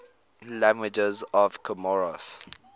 languages of comoros